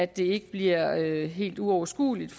det ikke bliver helt uoverskueligt